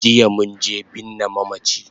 Jiya munje binne mamachi